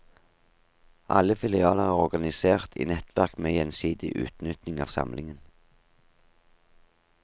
Alle filialer er organisert i nettverk med gjensidig utnytting av samlingen.